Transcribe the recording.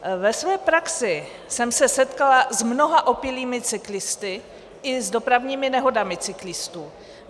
Ve své praxi jsem se setkala s mnoha opilými cyklisty i s dopravními nehodami cyklistů.